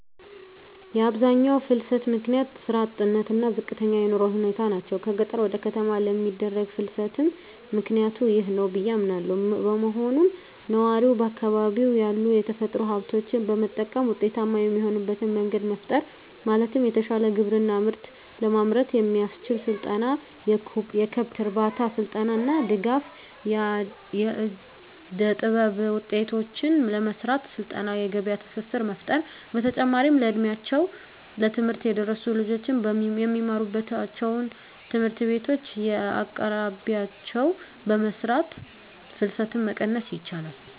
የአብዛኛው ፍልሰት ምክንያት ስራ አጥነት እና ዝቅተኛ የኑሮ ሁኔታ ናቸው። ከገጠር ወደ ከተማ ለሚደረግ ፍልስትም ምክኒያቱ ይህ ነው ብዬ አምናለው። በመሆኑም ነዋሪው በአካባቢው ያሉ የተፈጥሮ ሀብቶችን በመጠቀም ውጤታማ የሚሆንበት መንገድ መፍጠር ማለትም የተሻለ ግብርና ምርት ለማምረት የሚያስችል ስልጠና፣ የከብት እርባታ ስልጠና እና ድጋፍ. ፣ የእደጥበብ ውጤቶችን ለመሰራት ስልጠና የገበያ ትስስር መፍጠር። በተጨማሪም እ ድሜያቸው ለትምህርት የደረሱ ልጆች የሚማሩባቸውን ትምህርት ቤቶች በየአቅራቢያቸው በመስራት ፍልሰትን መቀነስ ይቻላል።